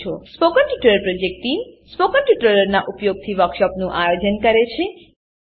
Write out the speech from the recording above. spoken tutorial project team spoken ટ્યુટોરીયલોનાં ઉપયોગથી વર્કશોપોનું આયોજન કરે છે